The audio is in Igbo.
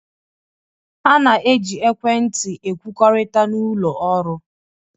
A na-eji ekwentị ekwukọrịta n'ụlọ ọrụ